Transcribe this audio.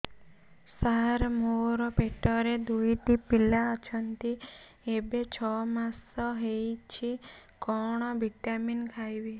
ସାର ମୋର ପେଟରେ ଦୁଇଟି ପିଲା ଅଛନ୍ତି ଏବେ ଛଅ ମାସ ହେଇଛି କଣ ଭିଟାମିନ ଖାଇବି